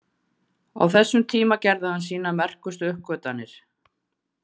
Á þessum tíma gerði hann sínar merkustu uppgötvanir.